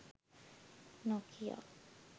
nokia